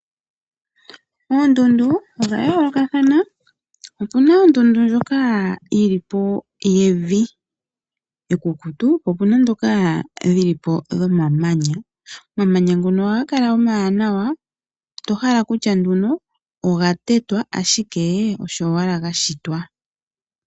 Oondundu odha yoolokathana opuna ondundu ndjoka yevi ekukutu, po opuna ndhoka dhomamanya omamanya ngoka ohaga kala omawanawa to hala okutya oga tetwa ashike osho owala gashitwa.